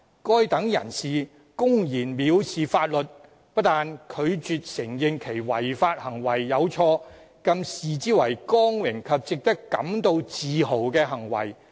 該等人士公然蔑視法律，不但拒絕承認其違法行為有錯，更視之為光榮及值得感到自豪的行為。